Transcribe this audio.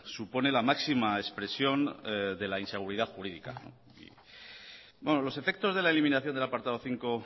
supone la máxima expresión de la inseguridad jurídica los efectos de la eliminación del apartado cinco